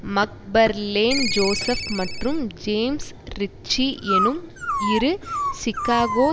Macfarlane Joseph மற்றும் James Ritchie எனும் இரு சிகாக்கோ